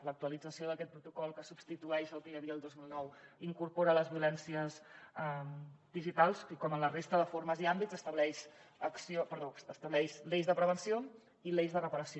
l’actualització d’aquest protocol que substitueix el que hi havia el dos mil nou incorpora les violències digitals i com en la resta de formes i àmbits estableix l’eix de prevenció i l’eix de reparació